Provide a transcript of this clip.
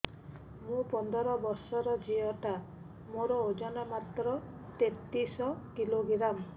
ମୁ ପନ୍ଦର ବର୍ଷ ର ଝିଅ ଟା ମୋର ଓଜନ ମାତ୍ର ତେତିଶ କିଲୋଗ୍ରାମ